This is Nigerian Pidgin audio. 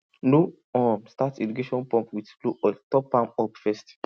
no um start irrigation pump with low oil top am up first